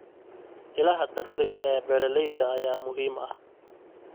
Ilaha dakhliga ee beeralayda ayaa muhiim ah.